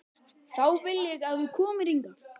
Þá vil ég að þú komir hingað!